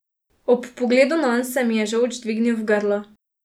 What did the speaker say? Ob pogledu nanj se mi je žolč dvignil v grlo.